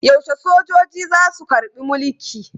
Yaushe sojoji za su karɓi mulki?